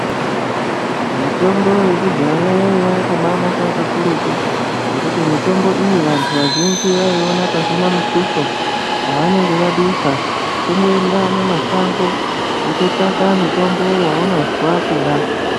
Mitombo yekudhaya yaiya yakabanaka kakurutu ngekuti mitombo iyi vantu vazhinji vaiiona pasina mutuso wavanenge vadusa kungoenda munashango wototsvaka mutombo waunozwa kuda.